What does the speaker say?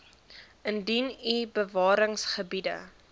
indien u bewaringsgebiede